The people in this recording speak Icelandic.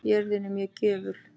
Jörðin er mjög gjöful.